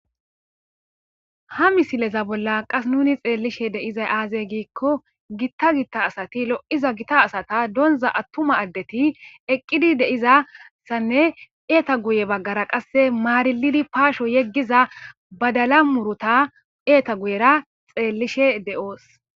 Ha misileza bolla qas nuni xeellishe de7izay aazey giikko gitta gitta asati lo7iza gita asata donza attuma addeti eqqidi deizassanne eeta guye baggara qasse maarilidi paasho yeggiza badala murota eeta guyera xeellishe de7oos.